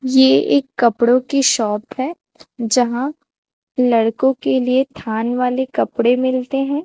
ये एक कपड़ों की शॉप है जहां लड़कों के लिए थान वाले कपड़े मिलते हैं।